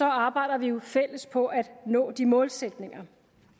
arbejder vi jo fælles på at nå de målsætninger